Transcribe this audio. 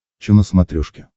че на смотрешке